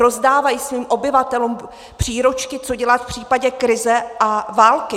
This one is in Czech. Rozdávají svým obyvatelům příručky, co dělat v případě krize a války.